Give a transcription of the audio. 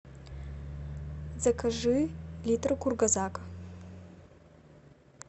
закажи литр кургазак